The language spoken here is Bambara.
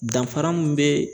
Danfara mun be